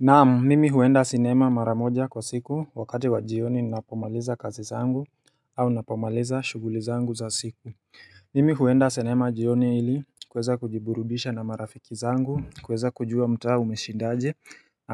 Naam mimi huenda sinema mara moja kwa siku wakati wa jioni ninapomaliza kazi zangu au napomaliza shughuli zangu za siku Mimi huenda sinema jioni ili kuweza kujiburubisha na marafiki zangu kuweza kujua mtaa umeshindaje